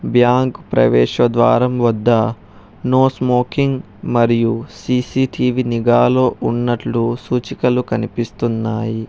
Bank ప్రవేశ ద్వారం వద్ద నో స్మోకింగ్ మరియు సి_సి_టీ_వీ నిగాలో ఉన్నట్లు సూచికలు కనిపిస్తున్నాయి.